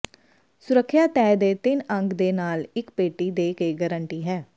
ਸੁਰੱਖਿਆ ਤੈਅ ਦੇ ਤਿੰਨ ਅੰਕ ਦੇ ਨਾਲ ਇੱਕ ਪੇਟੀ ਦੇ ਕੇ ਗਾਰੰਟੀ ਹੈ